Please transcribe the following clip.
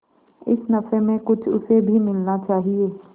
इस नफे में कुछ उसे भी मिलना चाहिए